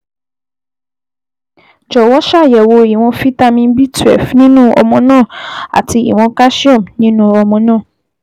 Jọ̀wọ́ ṣàyẹ̀wò ìwọ̀n fítámì B12 nínú ọmọ náà àti ìwọ̀n calcium nínú ọmọ náà